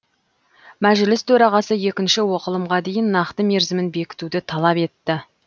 мәжіліс төрағасы екінші оқылымға дейін нақты мерзімін бекітуді талап етті